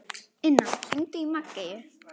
Inna, hringdu í Maggeyju.